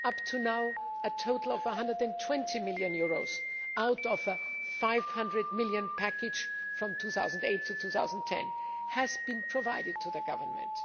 Up to now, a total of EUR 120 million out of a EUR 500 million package from 2008 to 2010 has been provided to the Government.